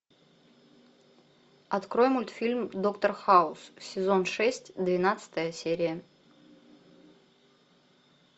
открой мультфильм доктор хаус сезон шесть двенадцатая серия